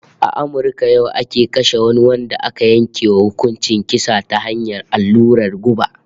A Amurka yau ake kashe wani wanda aka yanke wa hukuncin kisa ta hanyar allurar guba